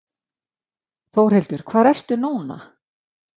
Þórhildur, hvar ertu núna?